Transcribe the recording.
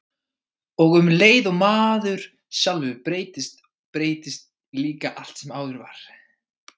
Og um leið og maður sjálfur breytist, breytist líka allt sem áður var.